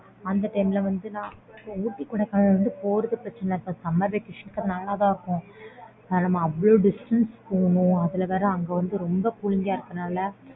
அந்த time ல வந்து நான் ooty Kodaikanal போறது பிரச்னை இல்ல summer vacation நம்ம அவ்ளோ distance போனும் அதுல வேற அங்க வந்து ரொம்ப குளிர இருக்கும் லா